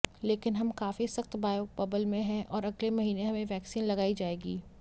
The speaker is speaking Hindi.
लेकिन हम काफी सख्त बायो बबल में हैं और अगले महीने हमें वैक्सीन लगाई जाएगी